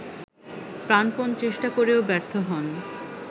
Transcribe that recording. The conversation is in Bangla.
প্রাণপণ চেষ্টা করেও ব্যর্থ হন